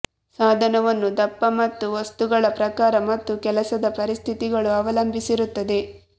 ಸಾಧನವನ್ನು ದಪ್ಪ ಮತ್ತು ವಸ್ತುಗಳ ಪ್ರಕಾರ ಮತ್ತು ಕೆಲಸದ ಪರಿಸ್ಥಿತಿಗಳು ಅವಲಂಬಿಸಿರುತ್ತದೆ